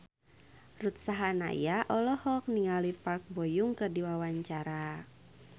Ruth Sahanaya olohok ningali Park Bo Yung keur diwawancara